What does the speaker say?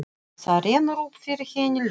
Þá rennur upp fyrir henni ljós.